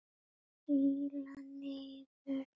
Príla niður og flýti mér fram.